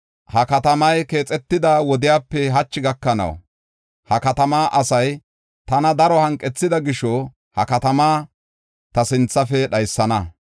Ha katamay keexetida wodepe hachi gakanaw, ha katamaa asay tana daro hanqethida gisho ha katamaa ta sinthafe dhaysana.